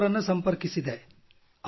ಕಪೂರ್ ಅವರನ್ನು ಸಂಪರ್ಕಿಸಿದೆ